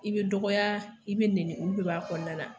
I bɛ dɔgɔya i bɛ nɛnni, u bɛ b'a kɔnɔna na.